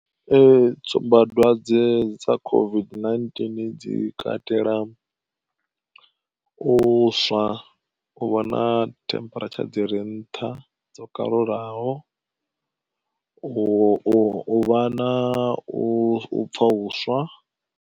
Ee tsumbadwadze dza COVID-19 dzi katela u swa, u vha na temperature dzi re nṱha dzo kalulaho, u vha na u pfha uswa.